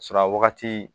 a wagati